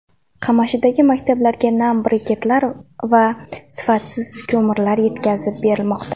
Qamashidagi maktablarga nam briketlar va sifatsiz ko‘mirlar yetkazib berilmoqda.